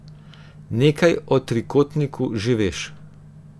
Nekaj o trikotniku že veš.